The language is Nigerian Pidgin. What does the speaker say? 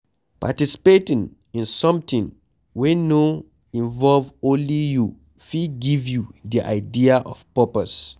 Participating in something wey no involve only you fit give you di idea of purpose